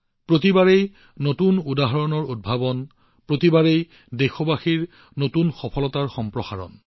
প্ৰতিবাৰেই নতুন উদাহৰণৰ নতুনত্ব প্ৰতিবাৰেই দেশবাসীৰ নতুন সফলতাৰ সম্প্ৰসাৰণ